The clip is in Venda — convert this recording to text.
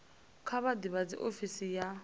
kha vha ḓivhadze ofisi ya